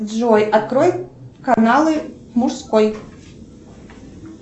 джой открой каналы мужской